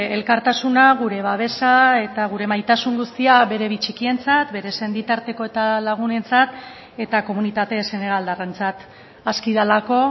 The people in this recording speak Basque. elkartasuna gure babesa eta gure maitasun guztia bere bi txikientzat bere senitarteko eta lagunentzat eta komunitate senegaldarrentzat aski delako